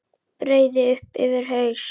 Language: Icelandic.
Breiði upp yfir haus.